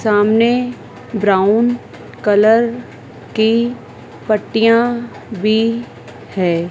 सामने brown colour की पट्टियां भी हैं।